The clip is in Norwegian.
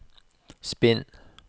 spinn